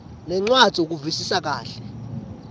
nencwadzi ukuvisisa kahle